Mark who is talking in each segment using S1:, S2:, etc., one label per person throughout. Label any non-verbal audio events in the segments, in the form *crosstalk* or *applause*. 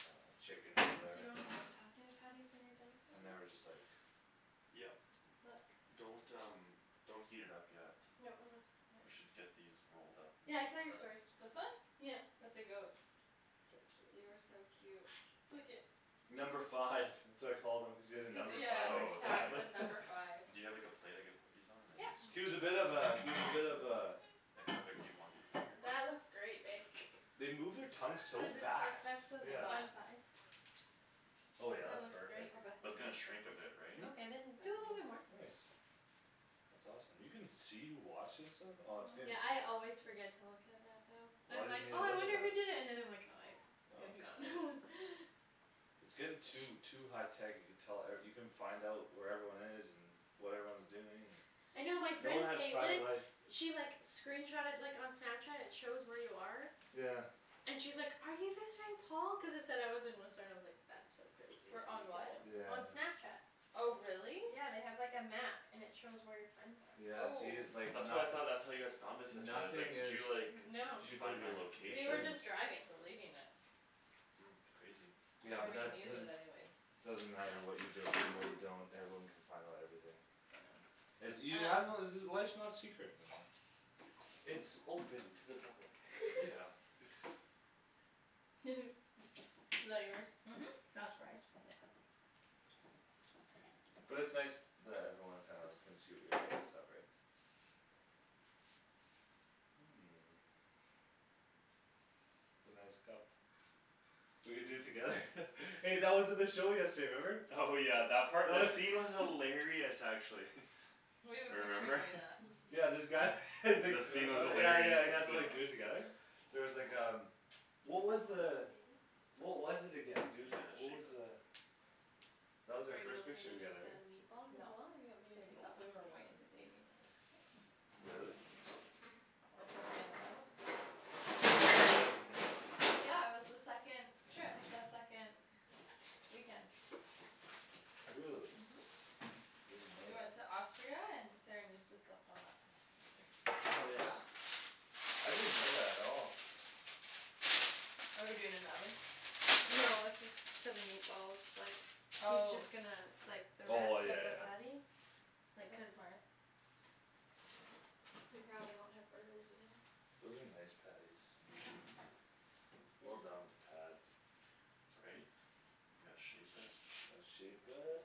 S1: And uh chickens,
S2: Do
S1: whatever.
S2: you wanna just pass me the patties when you're done with
S1: And
S2: the
S1: they were just,
S2: rest?
S1: like
S3: Yep.
S4: Look.
S3: Don't, um, don't heat it up yet.
S2: No, I'm not. *noise*
S3: We should get these rolled up in
S2: Yeah,
S3: there
S2: I saw your story.
S3: first.
S4: This one?
S2: Yeah.
S4: With the goats.
S2: So
S4: They
S2: cute.
S4: are so cute. Look at
S1: Number five. That's what I call them. Cuz he has a
S4: Cuz, yeah,
S1: number five
S4: yeah,
S1: on
S4: his
S3: Oh,
S1: his
S4: tag
S3: tag?
S1: tablet.
S4: said
S1: *laughs*
S4: number five.
S3: Do you have, like, a plate I could put these on and then
S2: Yep.
S3: this
S1: He was a bit of
S3: goes
S1: a, he was a bit of a
S3: Like how big do you want these, bigger?
S2: That looks great, babe.
S1: They move their tongue so
S2: Cuz it's, like,
S1: fast,
S2: that's the
S4: I'm
S1: yeah.
S4: not
S2: bun size.
S1: Oh yeah,
S2: That
S1: that's
S2: looks great.
S1: perfect.
S4: Oh, Bethany
S3: That's gonna
S4: watched it.
S3: shrink a bit, right?
S1: Hmm?
S2: Okay, then do a little bit more.
S4: Bethany.
S1: Nice. That's awesome. You can see, wash and stuff? Oh it's gonna
S2: Yeah, I always forget to look at that though.
S1: Why
S2: I'm like,
S1: didn't you
S2: "Oh I
S1: look at
S2: wonder who
S1: that?
S2: did it." And then I like "Oh I- it's
S1: Oh
S2: gone." *laughs*
S1: It's getting too, too high tech you can tell, er, you can find out where everyone is and What everyone's doing
S2: I
S1: and
S2: know my
S1: no one
S2: friend
S1: has private
S2: Caitlin
S1: life.
S2: She, like, screenshotted like on Snapchat; it shows where you are
S1: Yeah.
S2: And she's like, "Are you visiting Paul?" cuz it said I was in Whistler, I was like "That's so crazy that
S4: Wher-
S2: you can
S4: on what?
S1: Yeah,
S2: know"
S1: I
S2: on
S1: know.
S2: Snapchat.
S4: Oh, really?
S2: Yeah, they have, like, a map and it shows where your friends
S1: Yeah,
S2: are.
S1: see,
S4: Oh.
S1: like
S3: That's what I
S1: nothi-
S3: thought, that's how you guys found us yesterday. I was like,
S1: Nothing
S3: "Did
S1: is
S3: you like
S2: No,
S3: Find my
S2: we were
S3: location?"
S2: just driving.
S4: Deleting it.
S3: Mm. It's crazy.
S4: You
S1: Yeah,
S4: don't
S1: but that
S4: even use it
S1: doesn't
S4: anyways.
S1: Doesn't matter what you delete and what you don't. Everyone can find out everything.
S4: I know.
S1: *noise* You have to
S4: Um
S1: know *noise* life's not secret anymore. It's open to the public. *laughs*
S3: Yeah.
S2: *laughs* *laughs* Is that yours?
S4: Mhm. Yeah.
S2: Not surprised.
S1: But it's nice that everyone kinda can see what you're doing and stuff, right? *noise* It's a nice cup. We could do it together. *laughs* Hey, that was at the show yesterday, remember?
S3: Oh, yeah, that part? That scene was
S1: *laughs*
S3: hilarious, actually.
S4: We have a picture
S3: Remember? *laughs*
S4: doing that.
S2: *laughs*
S1: Yeah, this guy *laughs* he's like,
S3: The scene was
S1: uh yeah, yeah, he has
S3: hilarious.
S1: to, like, do it
S3: *laughs*
S1: together. There was like um, what was
S2: Who's
S1: the
S2: that *inaudible* baby?
S1: What was it again,
S3: Dude,
S1: dude,
S3: you gotta
S1: what was
S3: shape it.
S1: the That was our
S2: Are you
S1: first
S2: okay
S1: picture
S2: to make
S1: together,
S2: that
S1: right?
S2: meatball as
S4: No.
S2: well? Or do you want me to
S4: Baby,
S3: No,
S2: take
S4: tha-
S3: I
S2: over
S4: we
S3: can
S4: were
S2: for
S3: do
S4: way
S3: that.
S2: you?
S4: into dating when we took it.
S1: Really?
S4: That was like the end of bible school.
S1: *laughs* Yeah, that's in there
S4: Yeah, it was the second Trip, the second weekend.
S1: Really?
S4: Mhm.
S1: I didn't know
S4: We
S1: that.
S4: went to Austria and Saran used to slept on that bed together.
S1: Oh, yeah? I didn't know that at all.
S4: Are we doing in the oven?
S2: No, that's just for the meatballs, like He's
S4: Oh.
S2: just gonna, like, the
S1: Oh I,
S2: rest
S1: yeah,
S2: of the
S1: yeah.
S2: patties. Like,
S4: That's
S2: cuz
S4: smart.
S2: We probably won't have burgers again.
S1: Those are nice patties. Well
S2: Yeah.
S1: done with the pad.
S3: Right? You gotta shape it.
S1: Let's shape it.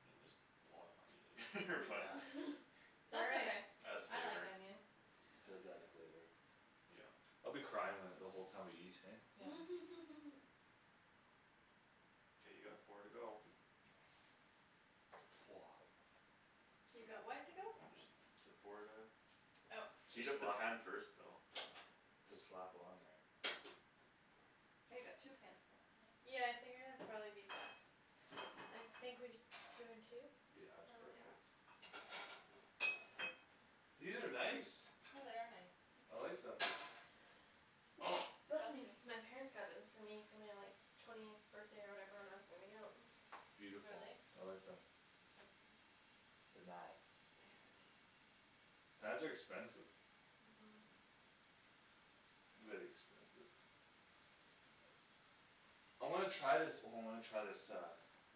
S3: I mean there's a lot of onion in here *laughs* but
S2: *laughs*
S1: Yeah.
S2: It's all
S4: That's
S2: right.
S4: okay,
S3: Adds
S4: I like
S3: flavor.
S4: onion.
S1: It does add flavor.
S3: Yeah.
S1: I'll be crying when, the whole time we eat, hey?
S4: Yeah.
S2: *laughs*
S3: K, you got four to go.
S1: Woah.
S2: You got what to go?
S3: Just said four to
S2: Oh.
S3: Heat
S1: Just
S3: up the
S1: slap
S3: pan first though.
S1: Just slap on there.
S4: Oh, you got two pans going, nice.
S2: Yeah, I figured it'd probably be best. I think we, two and two?
S1: Yeah, it's
S4: Yeah.
S2: Probably.
S1: perfect. These are nice.
S4: Yeah, they are nice.
S1: I like
S2: *noise*
S1: them.
S2: *noise* Bless
S4: Bless
S2: me!
S4: you.
S2: My parents got them for me for my, like Twentieth birthday or whatever when I was moving out. *noise*
S1: Beautiful,
S4: Really?
S1: I like them.
S2: *noise*
S1: They nice.
S4: They are nice.
S1: Pans are expensive.
S2: Mhm
S1: Very expensive. I wanna try this, oh, I wanna try this uh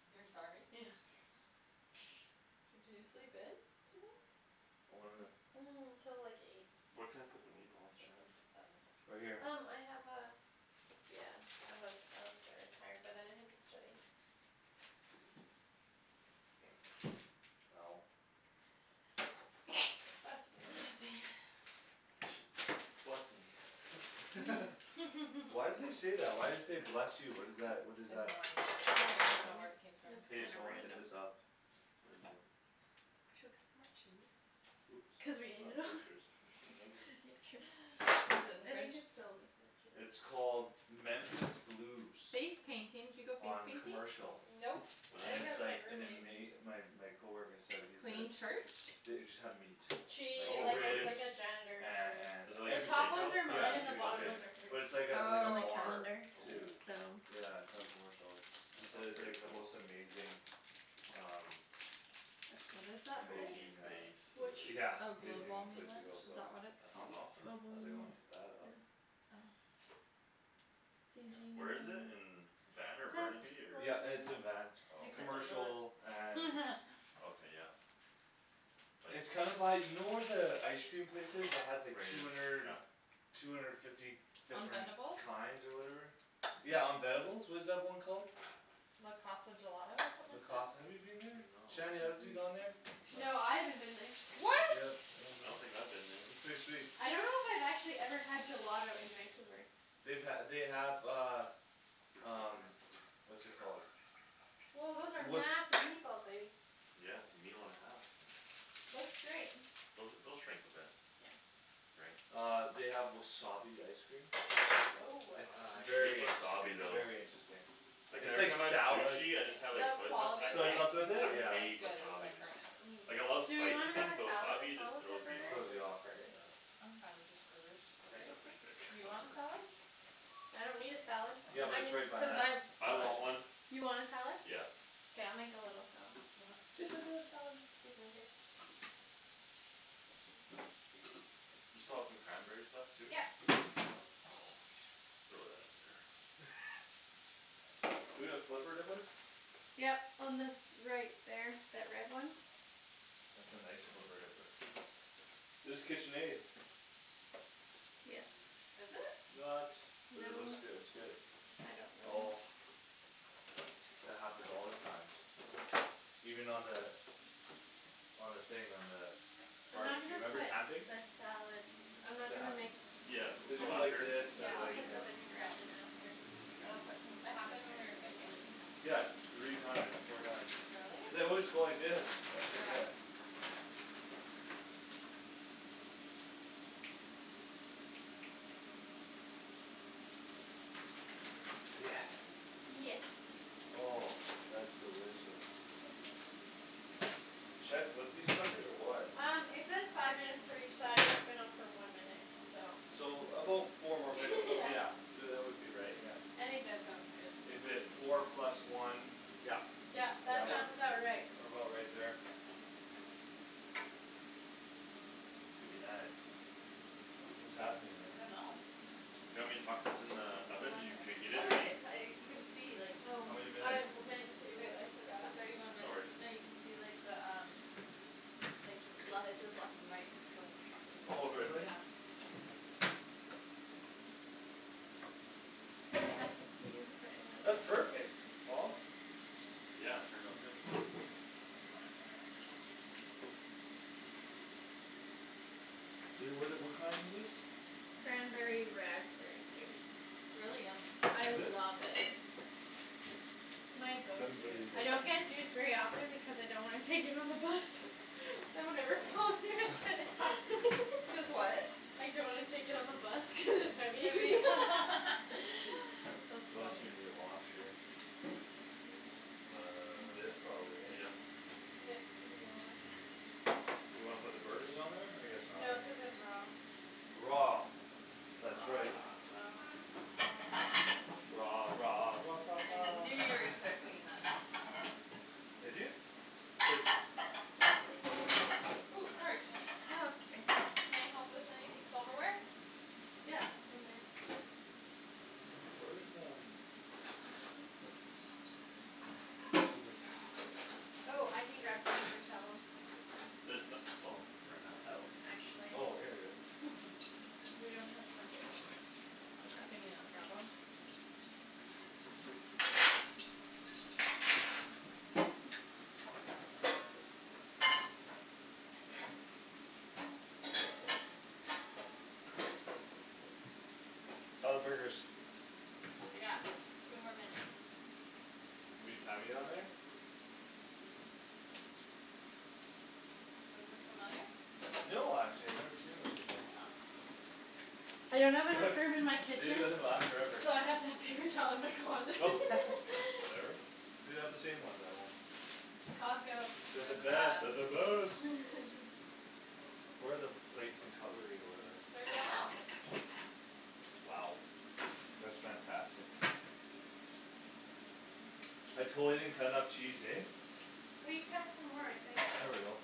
S4: You're sorry?
S2: Yeah.
S4: Did you sleep in? Today?
S1: I wanna
S2: *noise* Till like eight.
S3: Where can I
S4: Oh,
S3: put the
S4: I
S3: meatballs,
S4: slept
S3: Shan?
S4: in till seven.
S1: Right here
S2: Um I have a Yeah, I was, I was very tired but then I had to study.
S1: Ow
S2: *noise* Bless
S4: Bless you.
S2: me, yeah.
S3: *noise* Bless me. *laughs*
S2: *laughs*
S1: *laughs* Why do
S4: *laughs*
S1: they say that? Why do you say "Bless you"? What is that? What is
S4: I have
S1: that?
S4: no
S1: *noise*
S4: idea.
S2: I don't really
S4: I don't know where
S2: know.
S4: it came from.
S2: It's
S1: Hey,
S2: kinda
S1: so wanna hit
S2: random.
S1: this up.
S3: What is it?
S4: Should we cut some more cheese?
S1: Oops,
S2: Cuz we ate it
S1: not
S2: all
S1: butchers. Nope.
S2: *laughs* *noise*
S4: Is it in the
S2: I think
S4: fridge?
S2: it's still in the fridge, yeah.
S1: It's called Memphis Blues.
S4: Face painting. Did you go face
S1: On
S4: painting?
S3: Memphis Blues.
S1: Commercial.
S2: Nope,
S3: What
S2: I
S3: is
S1: And
S2: think that
S1: it's
S3: it?
S2: was my
S1: like an
S2: roommate.
S1: ama- my. my coworker said. he said
S4: Plain church?
S1: The- it just have meat. Like
S2: She,
S3: Oh,
S2: like, is
S3: really?
S2: like
S1: ribs
S2: a janitor
S1: and,
S2: for
S3: Is it
S1: and
S3: like
S2: The
S3: a
S1: everything.
S2: top ones
S3: steakhouse
S2: are
S3: kinda
S1: Yeah,
S2: mine and
S1: it's
S3: thing?
S2: the
S1: like a
S2: bottom
S3: Okay.
S1: steakh-
S2: ones are hers.
S1: But it's like a, like a
S2: And
S4: Oh,
S2: the
S4: okay.
S1: bar
S2: calendar
S1: too
S3: Oh.
S2: so
S1: Yeah, it's on Commercial. It's, he
S3: That
S1: said
S3: sounds
S1: it's
S3: pretty
S1: like the
S3: cool.
S1: most amazing Um
S2: That's
S4: What does
S2: mine.
S4: that say?
S1: Amazing
S3: Protein
S1: uh
S3: base.
S2: Which?
S1: yeah,
S4: Oh,
S1: amazing
S3: *laughs*
S4: Globalme
S1: place to
S4: lunch?
S1: go,
S4: Is
S1: so.
S4: that what it's
S3: That sounds
S4: called?
S3: awesome.
S1: I was like, "I
S2: Globalme,
S1: wanna hit that up."
S2: yeah C
S3: Where is
S2: G
S3: it? In
S2: um
S3: Van or
S2: Test.
S3: Burnaby or
S2: Wrong
S1: Yeah,
S2: turn.
S1: it's in Van.
S3: Oh, okay
S2: Except I'm not.
S1: Commercial and
S3: Okay, yeah. Like
S1: It's kinda by, you know where the ice cream place is that has like
S3: Rain
S1: two
S3: or
S1: hundred
S3: Shi-
S1: Two hundred fifty
S4: On
S1: different
S4: Venebles?
S1: kinds or whatever? Yeah, on
S3: *noise*
S1: Venebles? What is that one called?
S4: Le Casa Gelato or
S1: Le
S4: something like that?
S1: Casa, have you been there?
S3: No.
S1: Shanny, has you
S2: *noise*
S1: gone there? No.
S2: No, I haven't been there.
S3: I don't think
S4: What?
S3: so.
S1: Yep, oh,
S3: I
S1: no?
S3: don't think I've been
S1: It's
S3: there.
S1: pretty sweet.
S2: I don't know if I've actually had gelato in Vancouver.
S1: They've ha- they have uh Um what's it called
S2: Woah, those are
S1: *noise*
S2: massive meatballs, baby.
S3: Yeah, it's a meal and a half.
S2: Looks great.
S3: Those, they'll shrink a bit.
S2: Yeah
S3: Right.
S1: Uh they have wasabi ice cream.
S2: Woah.
S3: *noise*
S1: It's
S3: Ah, I hate
S1: very
S3: wasabi
S1: interesting,
S3: though.
S1: very interesting.
S3: Like
S1: It's
S3: every
S1: like
S3: time I have
S1: sou- like
S3: sushi I just
S2: Okay.
S3: have, like,
S4: The
S3: soy sauce. I
S4: quality of
S1: Soy
S3: hate,
S4: ice
S1: sauce with
S4: cream though
S3: I
S1: it? Yeah.
S4: isn't as
S3: hate
S4: good as,
S3: wasabi,
S4: like,
S3: man.
S4: Earnest.
S2: Mm.
S3: Like, I love
S2: Do we
S3: spicy
S2: wanna have
S3: things
S2: a
S3: but
S2: salad as
S3: wasabi
S2: well
S3: just
S2: with our
S3: throws me
S2: burgers?
S3: off.
S1: Throws
S2: Or
S1: you off,
S2: just
S1: right?
S2: burgers?
S1: Yeah.
S4: I'm fine with just burgers.
S2: Just
S3: These are
S2: burgers? K.
S3: pretty big.
S4: Do you want a
S3: Whatever.
S4: salad?
S2: I don't need a salad,
S1: Yeah, but
S2: I
S1: it's
S2: mean
S1: right by
S2: cuz
S1: that
S2: I
S1: ice
S3: I want
S1: cream place.
S3: one.
S2: You want a salad?
S3: Yeah.
S2: K, I'll make a little salad.
S4: Okay.
S1: Listen to the salad.
S2: Excuse me, babe.
S3: You still have some cranberries left too?
S2: Yep
S3: Throw that in there.
S1: *laughs* We gonna flipper dipper?
S2: Yep, on this, right there, that red one.
S1: That's a nice flipper dipper. It's Kitchenaid.
S2: Yes.
S4: Is it?
S1: Not, but it
S2: No,
S1: looks good, it's good.
S2: I don't
S1: Oh
S2: know.
S1: That happens all the time. Even on the On the thing, on the
S2: I'm not
S1: Barbecue,
S2: gonna
S1: remember
S2: put
S1: camping?
S2: the salad I'm not
S1: It
S2: gonna make
S1: happens.
S3: Yeah,
S2: You
S3: with
S1: Cuz
S3: the
S1: you
S2: put
S1: go like
S3: lacquer?
S2: this,
S1: this
S2: yeah,
S1: to,
S2: I'll
S3: I mean.
S1: like,
S2: put
S1: you
S2: the
S1: know
S4: Yeah.
S2: vinaigrette in after.
S3: K.
S2: And I'll put some
S4: It
S2: of the
S4: happened when we were
S2: cranberries
S4: camping?
S2: in.
S1: Yeah, three times, four times.
S4: Really?
S1: Cuz I always go like this, I
S4: Yeah.
S1: forget. Yes.
S2: Yes.
S1: Oh, that's delicious.
S2: *laughs*
S1: Should I flip these suckers or what?
S2: Um it says five minutes for each side and it's been on for one minute, so.
S1: So about four more minutes,
S2: *laughs* Yeah
S1: yeah. Y- uh that would be right, yeah.
S2: I think that sounds good.
S1: If it, four plus one, yeah.
S2: Yep,
S1: Yeah,
S2: that
S1: well,
S2: sounds
S4: Yep.
S2: about right.
S1: what about right there? Could be nice.
S2: Hmm?
S1: What's happening
S4: I don't
S1: there?
S4: know.
S3: Do you want me to huck this in the
S4: Maybe
S3: oven?
S4: one
S3: Did you
S4: minute.
S3: preheat
S4: Oh
S3: it
S4: look
S3: already?
S4: it uh you can see like
S2: Oh.
S1: How many
S2: I
S1: minutes?
S2: w- meant to but
S4: It,
S2: I
S4: it's
S2: forgot.
S4: at thirty one
S3: No
S4: minutes.
S3: worries.
S4: No, you can see the um Like le- it says left and right; it's going up
S1: Oh
S4: and down,
S1: really?
S4: yeah.
S2: I'ma pass this to you to put in
S1: That's
S2: the
S1: perfect, Paul.
S3: Yeah, it turned out good.
S1: I- Would it, what kind is this?
S2: Cranberry raspberry juice.
S4: It's really yummy.
S2: I
S1: Is it?
S2: love it. My go to.
S1: Cranberry
S2: I don't get
S1: *noise*
S2: juice very often because I don't wanna take it on the bus So whenever Paul's here I get
S1: *laughs*
S2: it. *laughs*
S4: Cuz what?
S2: I don't wanna take it on the bus cuz it's heavy *laughs*
S4: Heavy. *laughs* That's
S1: We also
S4: funny.
S1: need a wash here.
S2: *noise*
S1: This probably,
S3: Uh
S1: hey?
S3: yep.
S2: This could be washed.
S1: You wanna put the burgers on there? I guess not,
S2: No,
S1: eh?
S2: cuz it's raw.
S1: Raw, that's right.
S2: Raw Raw
S4: I knew you were gonna start
S1: *noise*
S4: singing
S3: *laughs*
S4: that.
S1: Did you? Cuz
S4: Ooh, sorry, Shan.
S2: No, that's okay.
S4: Can I help with anythi- silverware?
S2: Yeah, in men.
S1: Where's um
S2: *noise*
S1: Paper towel?
S2: Oh, I can grab some paper towel.
S3: There so- oh, ran out?
S2: Oh, actually.
S1: Oh, here we are.
S4: *laughs*
S2: We don't have much. I'll grab you
S4: Can you not grab 'em?
S1: How're the burgers?
S4: They got two more minutes.
S1: We've been timing on there?
S4: Mhm. Those look familiar?
S1: No, actually I've never seen those before.
S4: Yeah, hmm, interesting.
S2: I don't have enough room in my
S1: *laughs* They
S2: kitchen
S1: usually last forever.
S2: So I have to have paper towel in my closet.
S1: *laughs* Whatever.
S2: *laughs*
S1: We have the same ones at home.
S2: Costco.
S1: They're the
S4: They're the
S1: best, they're
S4: best.
S1: the best.
S2: *laughs*
S1: Where are the plates and cutlery or whatever?
S4: It's already all out.
S1: Wow. That's fantastic. I totally didn't cut enough cheese, hey?
S2: We cut some more, I think.
S1: There we go.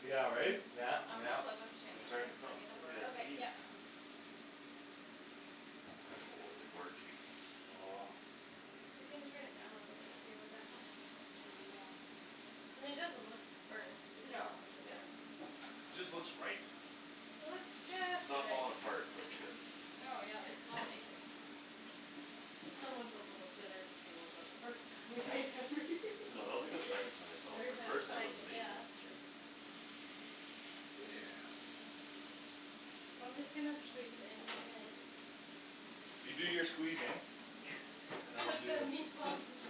S1: Yeah, right? Yeah,
S4: I'm gonna
S1: yeah.
S4: flip 'em, Shandy,
S3: It's
S4: cuz
S3: starting
S4: they're
S3: to smell
S4: starting to
S3: *noise*
S4: burn.
S3: I gotta
S2: Okay, yep.
S3: sneeze. Oh, they're gorgey.
S1: *noise*
S2: You can turn it down a little bit too, would that help?
S4: Maybe, yeah.
S2: I mean it doesn't look burnt.
S4: No, but they're
S2: Yeah
S1: Just looks right.
S2: It looks
S3: It's
S2: just
S3: not
S2: right.
S3: falling apart, so it's good.
S4: No, yeah, they smell
S2: *laughs*
S4: amazing.
S2: Someone's a little bitter still about the first time we made them.
S3: No, that was, like,
S2: *laughs*
S3: the second time it fell apart.
S1: First time it
S3: First
S1: was
S3: time
S2: Everytime
S3: was
S1: amazing.
S2: *inaudible* Yeah
S3: amazing.
S2: that's true.
S1: Yeah.
S2: I'm just gonna squeeze in and
S1: You do your squeezing and
S2: *laughs*
S1: I'll
S2: Put
S1: do
S2: the meatballs in the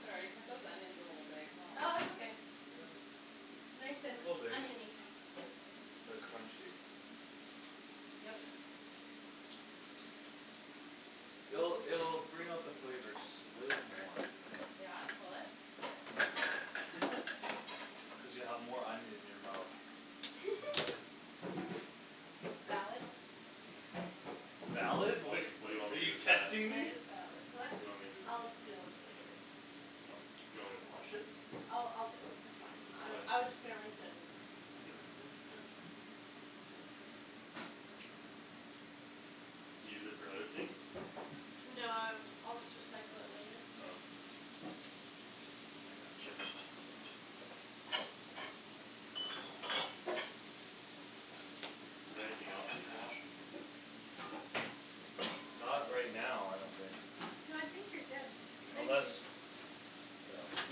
S4: Sorry, I cut those onions a little big, huh.
S2: Oh it's okay.
S1: Yeah.
S2: Nice and
S1: Little big.
S2: onion-y
S1: Like crunchy.
S2: Yum, yum.
S1: It'll, it'll bring out the flavor just a little more.
S4: Yeah? Will it?
S1: I think it's full. Cuz you
S3: *laughs*
S1: have more onion in your mouth.
S2: *laughs* Valid.
S1: Valid?
S3: Wait,
S1: Like,
S2: *laughs*
S3: what do you want
S1: are
S3: me to do
S1: you
S3: with that?
S1: testing
S2: That
S1: me?
S2: is valid. What?
S3: What do you want me to do with
S2: I'll
S3: that?
S2: deal with it later.
S3: Oh, do you want me to wash it?
S2: I'll, I'll deal with it. That's fine.
S3: Why?
S2: I, I was just gonna rinse it and then
S3: I can rinse it.
S2: Okay
S3: Do you use it for other things?
S2: No, uh I'll just recycle it later.
S3: Oh. I gotcha. Is there anything else needs washing?
S1: Not right now, I don't think.
S2: No, I think you're good.
S3: K.
S2: Thank
S1: Unless
S2: you.
S1: Yeah.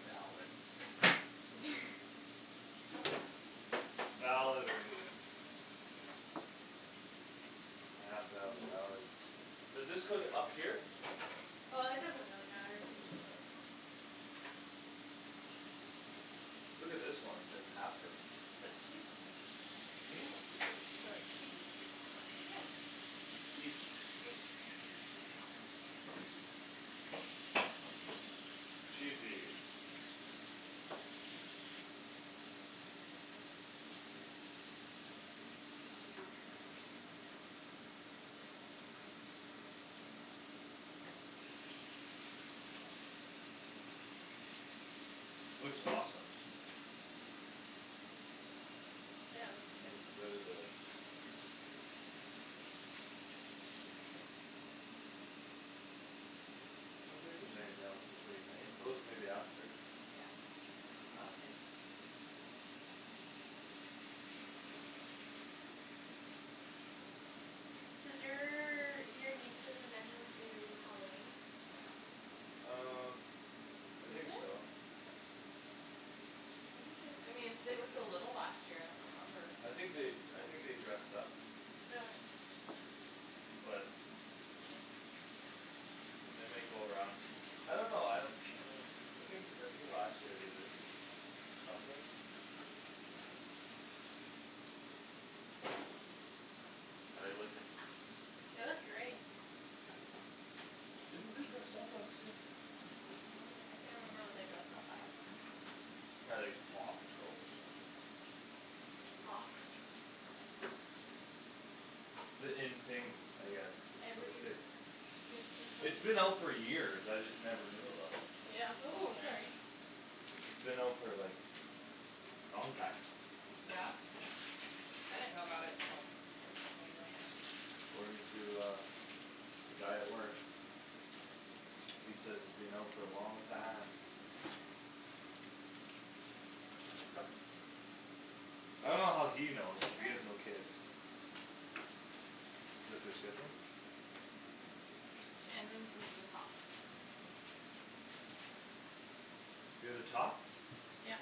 S1: Valid.
S2: *laughs*
S1: Valid reason. I have to have a
S2: *noise*
S1: valid Does this go th- up here?
S2: Uh it doesn't really matter.
S1: Look at this one, it's like halfer
S4: Put cheese on.
S1: Hmm?
S4: It's for, like, cheese and stuff.
S2: Yeah.
S1: Eat.
S2: Eat
S1: Cheesy. Looks awesome.
S2: Yeah, it looks good.
S1: Looks very good. I don't think there's anything else to clean, eh? Those maybe after
S2: Yeah, it's all good. Does your, do your nieces and nephews do Halloween?
S1: Um I
S4: Do they?
S1: think so.
S4: I thought they, I mean, they were so little last year; I don't remember.
S1: I think they, I think they dressed up.
S2: *noise*
S1: But And they might go around. I don't know, I Uh I think, I think last year they did it. Something
S3: How're they looking?
S2: It was great.
S1: Didn't they dress up last year?
S4: I don't remember. I can't remember what they dressed up as.
S1: Probably like Paw Patrol or something.
S2: *noise*
S1: It's the in thing, I guess, with the
S2: Every
S1: kids.
S2: It was just
S1: It's
S2: like
S1: been out for years; I just never knew about it.
S2: Yeah
S4: Ooh, sorry.
S2: *inaudible*
S1: It's been out for, like, long time.
S4: Yeah? I didn't know about it till Kristen and Marianne.
S1: According to, uh, the guy at work. He says it's been out for a long time.
S3: *inaudible*
S1: I dunno how he knows, cuz
S2: Sure.
S1: he has no kids. Is that their schedule?
S4: Mhm. Shandryn's is the top.
S1: You're the top?
S2: Yep.